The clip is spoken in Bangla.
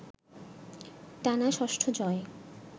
টানা ষষ্ঠ জয়ে